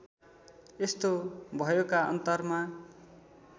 यस्तो भयोका अन्तरमा